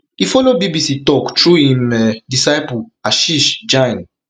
e follow bbc tok through im um disciple ashish jain